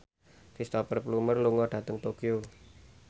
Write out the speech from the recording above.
Cristhoper Plumer lunga dhateng Tokyo